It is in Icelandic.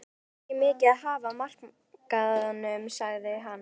Það var ekki mikið að hafa á markaðnum sagði hann.